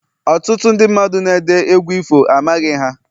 Ọtụtụ ndị mmadụ na-ede egwu ifo, amaghị ha